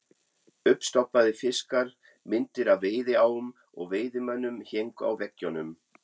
Uppstoppaðir fiskar, myndir af veiðiám og veiðimönnum héngu á veggjunum.